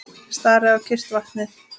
Stari á kyrrt vatnið.